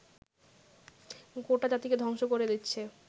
গোটা জাতিকে ধ্বংস করে দিচ্ছে